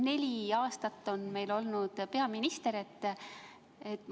Neli aastat on meil olnud peaminister.